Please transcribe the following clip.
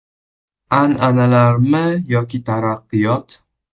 An’analarmi yoki taraqqiyot?